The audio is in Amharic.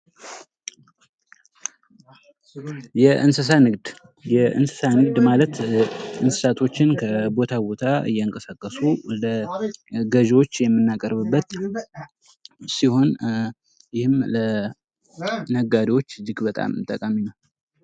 የእንስሳ ንግድ የእንስሳ ንግድ ማለት እንስሳቶችን ከቦታ ቦታ እያንቀሳቀሱ ለገዥዎች የምናቀርብበት ሲሆን ይህም ለነጋደዎች እጅግ በጣም ጠቃሚ ነው።